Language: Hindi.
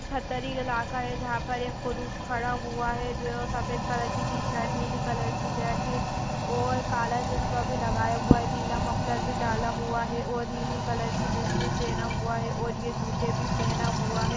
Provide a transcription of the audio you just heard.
पत्थरी इलाका है जहाँ पर एक पुरुष खड़ा हुआ है। जो है वो सफ़ेद कलर की टी शर्ट नीली कलर की जैकिट और काला चश्मा भी लगाया हुआ है। नीला मफ़लर भी डाला हुआ है और नीली कलर की जिन्स भी पहना हुआ है और ये जूते भी पहना हुआ है।